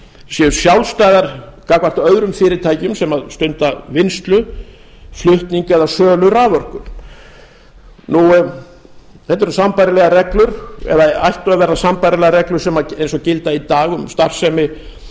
séu sjálfstæðar gagnvart öðrum fyrirtækjum sem stunda vinnslu flutning eða sölu raforku þetta eru sambærilegar reglur eða ættu að vera sambærilegar reglur og gilda í dag um starfsemi